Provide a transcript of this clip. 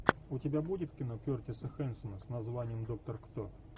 у тебя будет кино кертиса хэнсона с названием доктор кто